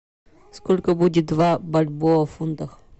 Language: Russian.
сколько будет два бальбоа в фунтах